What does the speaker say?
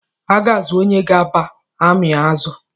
A ga-azụ̣ onye ga-aba ami azụ